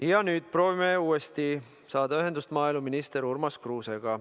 Ja nüüd proovime uuesti saada ühendust maaeluminister Urmas Kruusega.